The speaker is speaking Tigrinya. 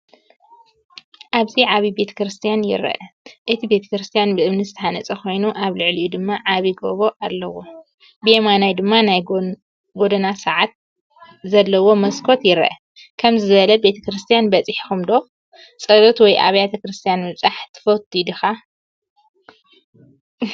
ኣብዚ ዓብይ ቤተ ክርስቲያን ይርአ። እቲ ቤተክርስትያን ብእምኒ ዝተሃንጸ ኮይኑ ኣብ ልዕሊኡ ድማ ዓቢ ጎቦ ኣለዎ። ብየማን ድማ ናይ ጎደና ሰዓትን ዘለዎ መስኮት ይርአ። ከምዚ ዝበለ ቤተ ክርስቲያን በጺሕኩም ዶ? ጸሎት ወይ ኣብያተ ክርስቲያናት ምብጻሕ ትፈቱ ዲኻ?